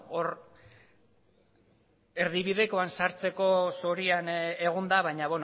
bueno hor erdibidekoan sartzeko zorian egon da baina